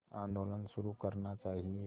आंदोलन शुरू करना चाहिए